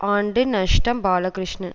ஆண்டு நஷ்டம் பாலகிருஷ்ணன்